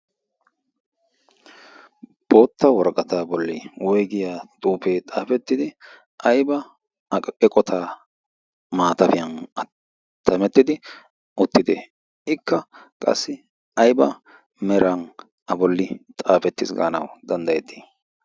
bootta woraqata bolli woygiya xuufee xaafettidi aiba eqota maatafiyan attamettidi uttiti ikka qassi ayba meran a bolli xaafetti gaanawu danddayettii